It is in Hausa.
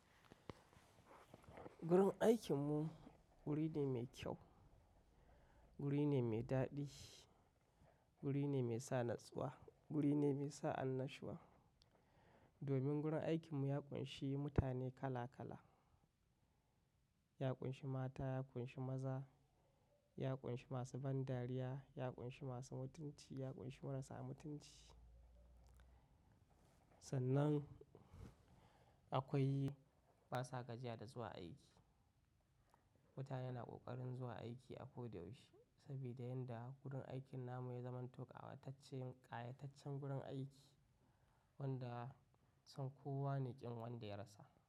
Gurin aikinmu wuri ne mai kyau, wuri ne mai daɗi, wuri ne mai sa natsuwa, wuri ne mai sa annashuwa. Domin gurin aikinmu ya ƙunshi mutane kala kala. Ya ƙunshi mata, ya ƙunshi maza, ya ƙunshi masu ban dariya, ya ƙunshi masu mutunci, ya ƙunshi marasa mutunci. Sannan akwai basa gajiya da zuwa aiki. Mutane na ƙoƙarin zuwa aiki a ko da yaushe saboda yanda gurin aikin namu ya zamanto kawatacce, ƙayataccen gurin aiki wanda son kowane ƙin wanda ya rasa.